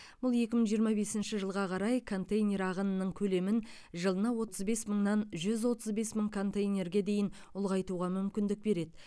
бұл екі мың жиырма бесінші жылға қарай контейнер ағынының көлемін жылына отыз бес мыңнан жүз отыз бес мың контейнерге дейін ұлғайтуға мүмкіндік береді